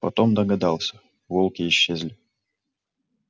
потом догадался волки исчезли